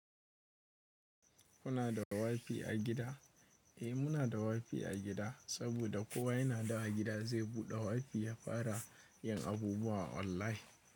Kuna da wifi a gida? Eh muna da wifi a gida saboda kowa yana da a gida zai buɗe wifi ya fara yin abubuwa online.